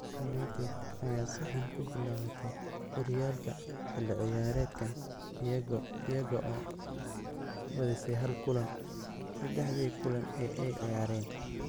United ayaa si xun ku bilaabatay horyaalka xilli ciyaareedkan iyaga oo badisay hal kulan saddexdii kulan ee ay ciyaareen.